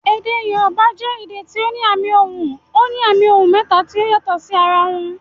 Èdè Yorùbá jẹ èdè tí ó ní àmì ohùn. Ó ní àmì ohùn mẹ́ta tí ó yàtò sí ara wọn